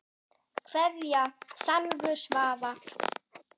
Kveðja Salvör Svava.